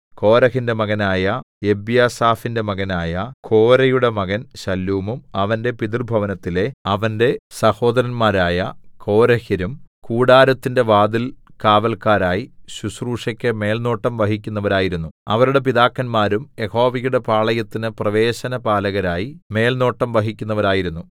കോരഹിന്റെ മകനായ എബ്യാസാഫിന്റെ മകനായ കോരേയുടെ മകൻ ശല്ലൂമും അവന്റെ പിതൃഭവനത്തിലെ അവന്റെ സഹോദരന്മാരായ കോരഹ്യരും കൂടാരത്തിന്റെ വാതിൽകാവല്ക്കാരായി ശുശ്രൂഷയ്ക്ക് മേൽനോട്ടം വഹിക്കുന്നവരായിരുന്നു അവരുടെ പിതാക്കന്മാരും യഹോവയുടെ പാളയത്തിന് പ്രവേശനപാലകരായി മേൽനോട്ടം വഹിക്കുന്നവരായിരുന്നു